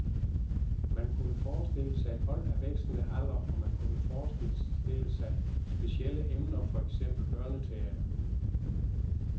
Man kunne forestille sig hold af vekslende alder, og man kunne forestille sig specielle emner, for eksempel børneteater.